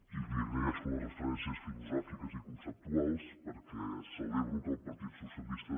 i li agraeixo les referències filosòfiques i conceptuals perquè celebro que el partit socialista